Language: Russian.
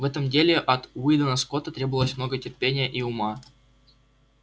в этом деле от уидона скотта требовалось много терпения и ума